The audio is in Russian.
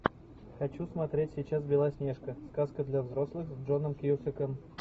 хочу смотреть сейчас белоснежка сказка для взрослых с джоном кьюсаком